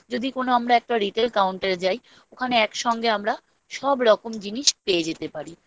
যদি কোনো আমরা একটা Retail Counter এ যাই ওখানে একসঙ্গে আমরা সব রকম জিনিস পেয়ে যেতে পারি